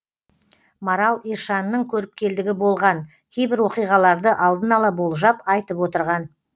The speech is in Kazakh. марал ишанның көріпкелдігі болған кейбір оқиғаларды алдын ала болжап айтып отырған